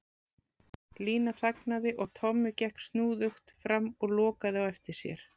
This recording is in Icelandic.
Lína þagnaði og Tommi gekk snúðugt fram og lokaði á eftir sér.